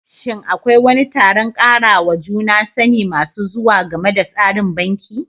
Shin Akwai wani taron karawa juna sani masu zuwa game da tsarin banki?